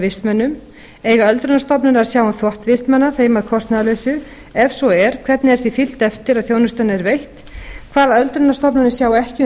vistmönnum eiga öldrunarstofnanir að sjá um þvott vistmanna þeim að kostnaðarlausu ef svo er hvernig er því fylgt eftir að þjónustan er veitt hvaða öldrunarstofnanir sjá ekki um